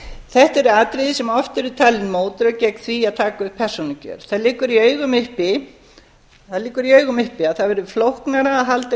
þetta eru atriði sem oft eru talin mótrök gegn því að taka upp persónukjör það liggur í augum uppi að það verður flóknara að halda